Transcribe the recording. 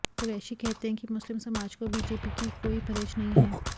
कुरैशी कहते हैं कि मुस्लिम समाज को बीजेपी के कोई परहेज नहीं है